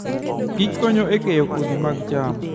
kich konyo e keyo kodhi mag cham.